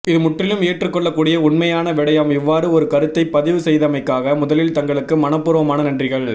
இது முற்றிலும் ஏற்றுக் கொள்ளக்கூடிய உண்மையான விடயம் இவ்வாறு ஒரு கருத்தைப் பதிவு செய்தமைக்காக முதலில் தங்களுக்கு மனபூர்வமான நன்றிகள்